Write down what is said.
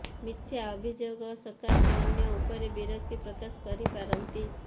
ମିଥ୍ୟା ଅଭିଯୋଗ ସକାଶେ ଅନ୍ୟ ଉପରେ ବିରକ୍ତି ପ୍ରକାଶ କରିପାରନ୍ତି